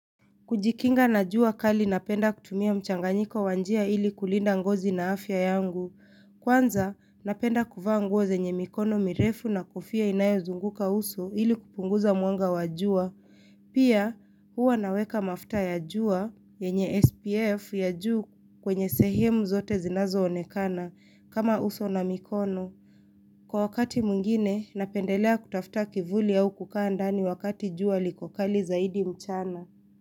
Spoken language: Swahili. Kujikinga na jua kali napenda kutumia mchanganyiko wanjia ili kulinda ngozi na afya yangu. Kwanza, napenda kuvaa nguoze nye mikono mirefu na kofia inayo zunguka uso ili kupunguza mwanga wajua. Pia, huwa naweka mafta ya jua, yenye SPF ya juu kwenye sehemu zote zinazo onekana, kama uso na mikono. Kwa wakati mwingine, napendelea kutafta kivuli au kukaa ndani wakati jua liko kali zaidi mchana.